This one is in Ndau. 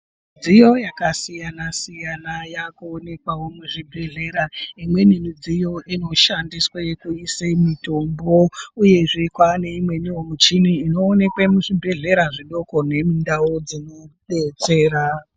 Midziyo yakasiyana -siyana yakuonekwawo muzvibhedhlera umweni midziyo inoshandiswe kuise mutombo uyezve kwane imweni muchini inoonekwe muzvibhedhlera zvidoko nemundau dzinobetsera.